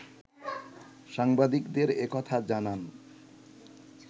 সাংবাদিকদের এ কথা জানান